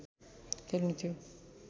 खेल्नु थियो